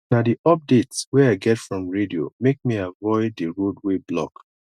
na di updates wey i get from radio make me avoid di road wey block